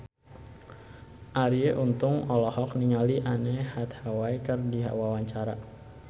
Arie Untung olohok ningali Anne Hathaway keur diwawancara